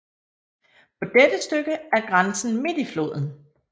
På dette stykke er grænsen midt i floden